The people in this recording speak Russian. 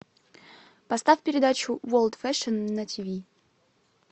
поставь передачу ворлд фэшн на тиви